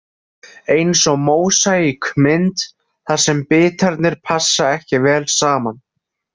Eins og mósaíkmynd þar sem bitarnir passa ekki vel saman.